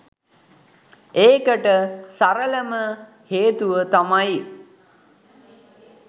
ඒකට සරලම හේතුව තමයි